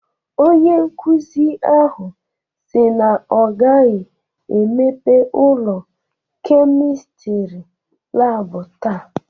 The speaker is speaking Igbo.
Onye nkuzi ahụ si na ọ gaghị emepe ụlọ Kemịstri laabụ taa.